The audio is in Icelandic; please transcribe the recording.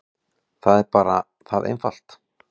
Það er bara það einfalt.